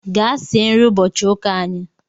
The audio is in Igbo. Gaa sie nri ụbọchị ụka anyị